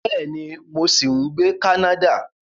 Bẹ́ẹ̀ni, mo ṣì ń gbé ní Canada